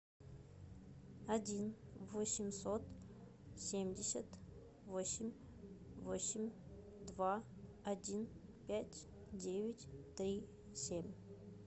один восемьсот семьдесят восемь восемь два один пять девять три семь